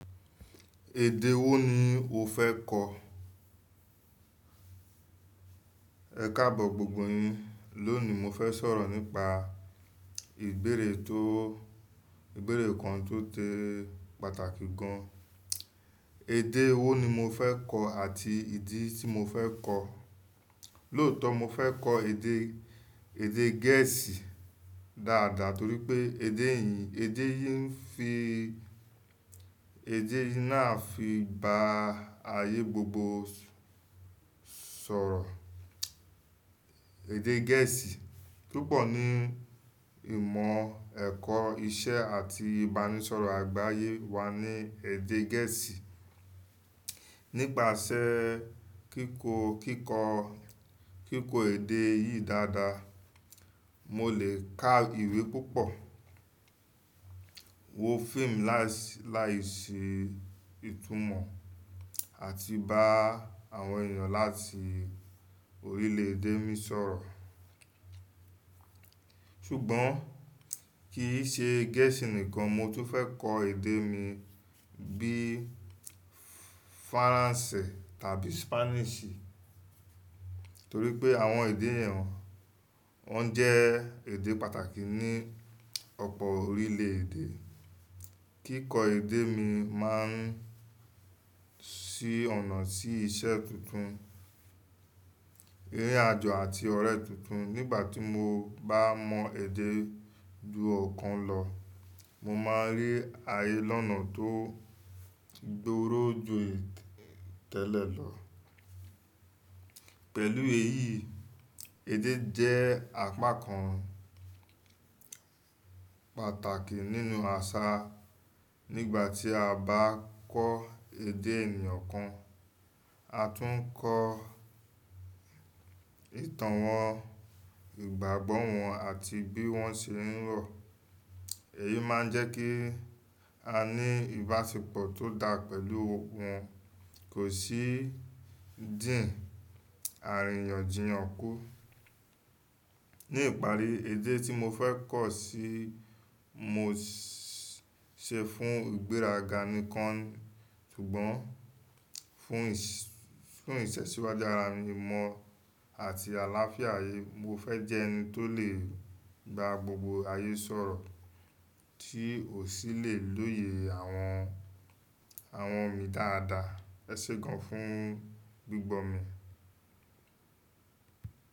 Èdè wo ni o fẹ́ kọ̀? Ẹ̀kaabo gbogbo yin. Lónìí, mo fẹ́ sọ̀rọ̀ nípa ìbéèrè tó ìbéèrè kan tó sé pàtàkì gan. Èdè wo ni mo fẹ́ kọ̀ àti ìdí tí mo fẹ́ kọ̀. Lóòtọ́ mo fẹ́ kọ́ èdè, èdè Gẹ̀ẹ́sì dáadáa torí pé èdè yi, èdè yin fi èdè náà fi ba ayé gbogbo sọ̀rọ̀. Èdè Gẹ̀ẹ́sì, púpọ̀ ní ìmọ̀ ẹ̀kọ́, iṣẹ́ àti ìbánisọ̀rọ̀ àgbáyé wà ní èdè Gẹ̀ẹ́sì. Nípasẹ́ kíkó, kíkó, kíkọ èdè yí dáadáa, mo lè ká ìwé púpọ̀, wo fíìmù láìsí, láìsí ìtumọ̀ àti bá àwọn ènìyàn láti orílẹ̀ èdè mi sọ̀rọ̀. Ṣùgbọ́n kì í ṣe Gẹ̀ẹ́sì nìkan, mo tún fẹ́ kọ èdè mi bí i Faransé tàbí Spanish. Torí pé àwọn èdè yẹn wọn jẹ́ èdè pàtàkì ní ọ̀pọ̀ orílẹ̀ èdè. Kíkọ èdè mi máa ń ṣí ọ̀nà sí iṣẹ́ tuntun, rí àjo àti ọ̀rẹ́ tuntun. Nígbà tí mo bá mọ èdè ju ọ̀kan lọ, mo máa rí ayé lọ́nà tó dúró ju tẹ́lẹ̀ lọ. Pẹ̀lú èyí, èdè jẹ́ apá kan pàtàkì nínú àṣà. Nígbà tí a bá kọ́ èdè ẹnì kan, a tún ń kọ ìtàn wọn, ìgbàgbọ́ wọn àti bí wọ́n ṣe ń rọ. Èyí máa ń jẹ́ kí a ní ìbáṣepọ̀ tó dá pẹ̀lú wọn, kò sì dìn àríyànjiyàn kù. Ní ìparí, èdè tí mo fẹ́ kọ̀ ṣì mó ṣe fún ìgbéraga nìkan, ṣùgbọ́n fún ìṣ fún ìtẹ̀síwájú ara mi mọ́ àti àlàáfíà ayé. Mo fẹ́ jẹ́ ẹni tó lè ba gbogbo ayé sọ̀rọ̀ tí ò sì lè lóye àwọn, àwọn mi dáadáa. Ẹ̀ ṣe gan fún gbígbọ́ mi.